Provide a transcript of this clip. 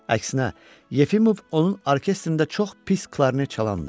Əksinə, Yefimov onun orkestrində çox pis klarnet çalandır.